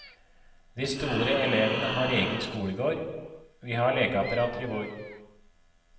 De store elevene har egen skolegård, vi har lekeapparater i vår.